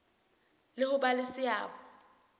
le ho ba le seabo